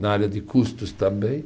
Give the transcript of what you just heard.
Na área de custos também.